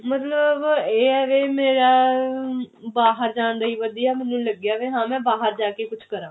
ਮਤਲਬ ਇਹ ਆ ਵੀ ਮੇਰਾ ਆਹ ਬਾਹਰ ਜਾਂ ਦੀ ਹੀ ਵਧੀਆ ਮੈਨੂੰ ਲੱਗਿਆ ਹਾਂ ਮੈਂ ਬਾਹਰ ਜਾ ਕਿ ਕੁਛ ਕਰਾਂ